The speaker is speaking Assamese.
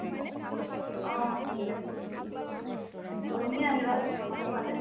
অহ ঠিক আছে। তুমি আহিবা আমাৰ ফালে